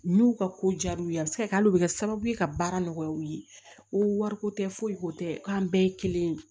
N'u ka ko diyar'u ye a bɛ se ka kɛ hali u bɛ kɛ sababu ye ka baara nɔgɔya u ye ko wariko tɛ foyi ko tɛ k'an bɛɛ ye kelen ye